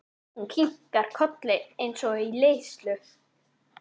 Hún kinkar kolli eins og í leiðslu.